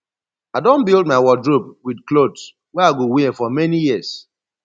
i don build my wardrobe wit clothes wey i go wear for many years